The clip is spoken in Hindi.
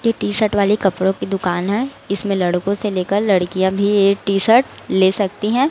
ये टी शर्ट वाले कपड़ों की दुकान है इसमें लड़कों से लेकर लड़कियां भी ये टी शर्ट ले सकती है।